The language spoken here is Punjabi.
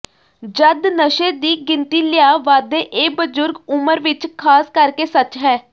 ਜਦ ਨਸ਼ੇ ਦੀ ਗਿਣਤੀ ਲਿਆ ਵਾਧੇ ਇਹ ਬਜ਼ੁਰਗ ਉਮਰ ਵਿੱਚ ਖਾਸ ਕਰਕੇ ਸੱਚ ਹੈ